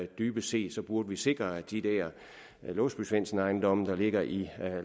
dybest set burde vi sikre at de der låsby svendsen ejendomme der ligger i